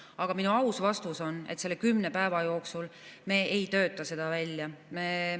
Aga minu aus vastus on, et selle kümne päeva jooksul me ei tööta seda välja.